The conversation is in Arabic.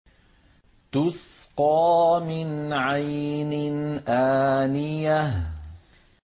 تُسْقَىٰ مِنْ عَيْنٍ آنِيَةٍ